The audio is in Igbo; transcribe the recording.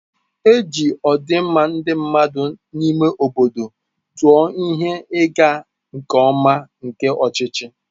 E ji ọdịmma ndị mmadụ n'ime obodo tụọ ihe ịga nke ọma nke ọchịchị.